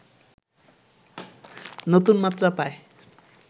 নতুন মাত্রা পায়